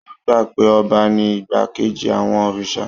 Wọ́n gbà pé ọba ní igbákejì àwọn òrìṣà